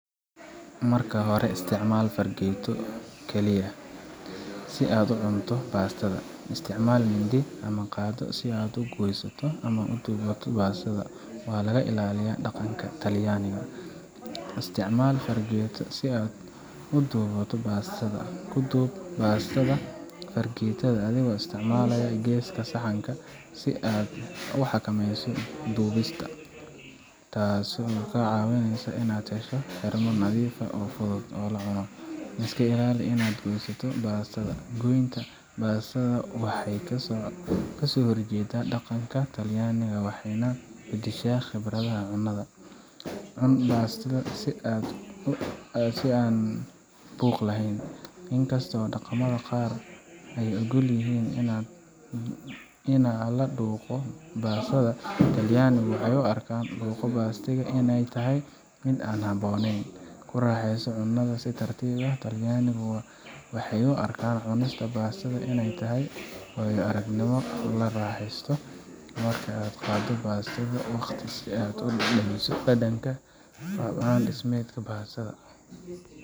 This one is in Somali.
Marka hore, isticmaal fargeeto kaliya si aad u cunto bastada; isticmaalka mindi ama qaaddo si aad u goyso ama u duubto bastada waa laga ilaaliyaa dhaqanka Talyaaniga. Isticmaal fargeeto si aad u duubto bastada. Ku duub spaghetti-ga fargeetada adigoo isticmaalaya geeska saxanka si aad u xakameyso duubista, taasoo kaa caawinaysa inaad hesho xirmo nadiif ah oo fudud oo la cuno. Iska ilaali inaad goyso bastada. Goynta bastada waxay ka soo horjeeddaa dhaqanka Talyaaniga waxayna beddeshaa khibradda cunnada. Cun bastada si deggan oo aan buuq lahayn. Inkasta oo dhaqamada qaar ay oggol yihiin in la dhuuqo bastada, Talyaanigu waxay u arkaan inaa la dhuuqo bastada inay tahay mid aan habboonayn. Ku raaxayso cunnadaada si tartiib ah. Talyaanigu waxay u arkaan cunista bastada inay tahay waayo-aragnimo la raaxaysto, markaa qaado waqti si aad u dhadhamiso dhadhanka iyo qaab dhismeedka bastada.